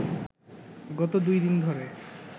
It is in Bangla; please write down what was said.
গত দুই দিন ধরে